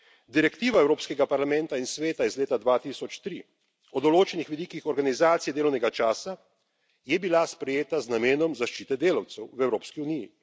Direktiva Evropskega parlamenta in Sveta iz leta 2003 o določenih vidikih organizacije delovnega časa je bila sprejeta z namenom zaščite delavcev v Evropski uniji.